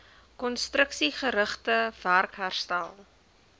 konstruksiegerigte werk herstel